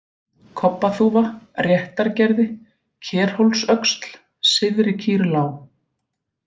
Kobbaþúfa, Réttargerði, Kerhólsöxl, Syðri-Kýrlág